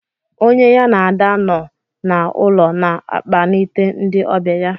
Onye ya na Ada nọ na-ulo na akpanite ndị ọbịa ya.